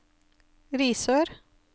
Risør